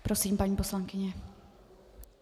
Prosím, paní poslankyně.